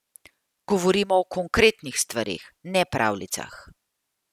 Govorimo o konkretnih stvareh, ne pravljicah.